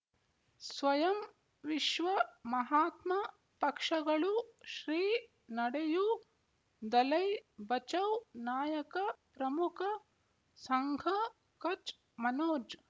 ಸ್ವಯಂ ವಿಶ್ವ ಮಹಾತ್ಮ ಪಕ್ಷಗಳು ಶ್ರೀ ನಡೆಯೂ ದಲೈ ಬಚೌ ನಾಯಕ ಪ್ರಮುಖ ಸಂಘ ಕಚ್ ಮನೋಜ್